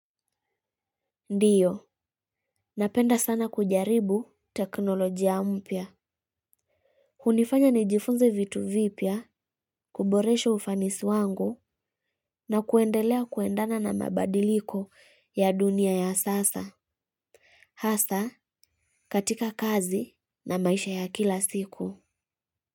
Ndio, napenda sana kujaribu teknolojia mpya. Hunifanya nijifunze vitu vipya, kuboresha ufanisi wangu na kuendelea kuendana na mabadiliko ya dunia ya sasa. Hasa katika kazi na maisha ya kila siku.